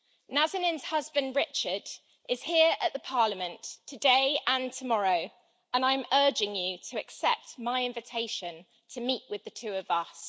Nazanin's husband, Richard, is here at Parliament today and tomorrow, and I am urging you to accept my invitation to meet with the two of us.